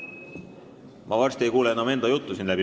Ma varsti ei kuule enam isegi enda juttu.